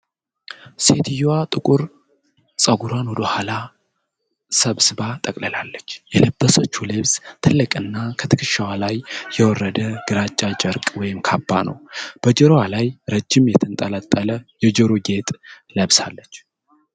ሴትየዋ ጥቁር ፀጉሯን ወደ ኋላ ሰብስባ ጠቅልላለች። የለበሰችው ልብስ ትልቅና ከትከሻዋ ላይ የወረደ ግራጫ ጨርቅ ወይም ካባ ነው። በጆሮዋ ላይ ረጅም፣ የተንጠለጠለ የጆሮ ጌጥ ለብሳለች።